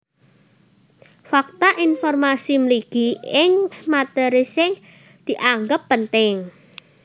Fakta informasi mligi ing matéri sing dianggep penting